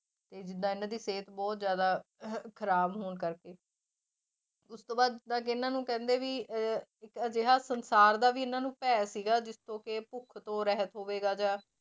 ਤੇ ਜਿੱਦਾਂ ਇਹਨਾਂ ਦੀ ਸਿਹਤ ਬਹੁਤ ਜ਼ਿਆਦਾ ਖ਼ਰਾਬ ਹੋਣ ਕਰਕੇ ਉਸ ਤੋਂ ਬਾਅਦ ਜਿੱਦਾਂ ਕਿ ਇਹਨਾਂ ਨੂੰ ਕਹਿੰਦੇ ਵੀ ਅਹ ਇੱਕ ਅਜਿਹਾ ਸੰਸਾਰ ਦਾ ਵੀ ਇਹਨਾਂ ਨੂੰ ਭੈਅ ਸੀਗਾ ਜਿਸਤੋਂ ਕਿ ਭੁੱਖ ਤੋਂ ਰਹਿਤ ਹੋਵੇਗਾ ਜਾਂ